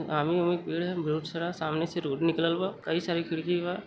आमी ओमी के पेड़ ह बहुत सारा। सामने से रोड निकलल बा। कई सारे खिड़की बा।